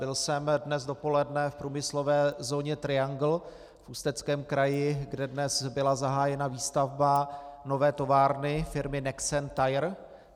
Byl jsem dnes dopoledne v průmyslové zóně Triangle v Ústeckém kraji, kde dnes byla zahájena výstavba nové továrny firmy Nexen Tire.